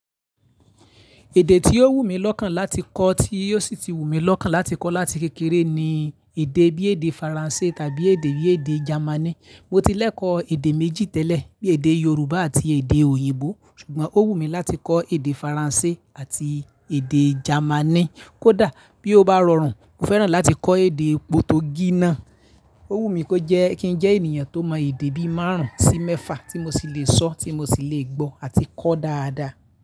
Èdè tí ó wù mí lọ́kàn láti kọ́, tí ó sì ti wù mí lọ́kàn láti kọ́ láti kékeré ni èdè bí èdè Faransé tàbí èdè bí èdè Jamaní. Mo ti lẹ́kọ̀ọ́ èdè méjì tẹ́lẹ̀, bí èdè Yorùbá àti èdè òyìnbó, ṣùgbọ́n ó wù mí láti kọ́ èdè Faransé àti èdè Jamaní. Kódà bí ó bá rọrùn, mo fẹ́ràn láti kọ́ èdè Potogí náà. Ó wù mí kó jẹ́, kí n jẹ́ ènìyàn tó mọ èdè bí márùn-ún sí mẹ́fà tí mo sì lè sọ, tí mo sì lè gbọ́ àti kọ́ dáadáa.